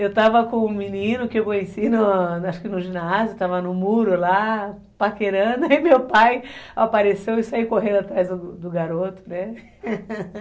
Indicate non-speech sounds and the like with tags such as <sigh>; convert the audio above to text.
Eu estava com um menino que eu conheci, no, acho que no ginásio, estava no muro lá, <laughs> paquerando, e meu pai apareceu <laughs> e saiu correndo atrás do garoto, né? <laughs>